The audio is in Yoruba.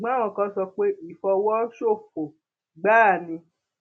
ṣùgbọn àwọn kan sọ pé ìfọwọsofọ gbáà ni